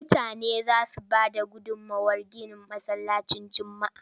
Mutane za su bayar da gudummawar ginin Masallacin Juma'a.